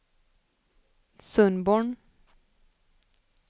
Sundborn